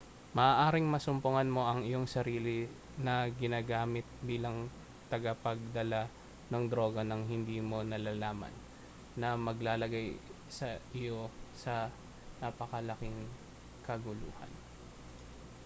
maaaring masumpungan mo ang iyong sarili na ginagamit bilang tagapagdala ng droga nang hindi mo nalalaman na maglalagay sa iyo sa napakalaking kaguluhan